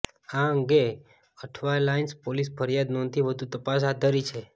આ અંગે અઠવાલાઈન્સ પોલીસે ફરિયાદ નોંધી વધુ તપાસ હાથ ધરી છે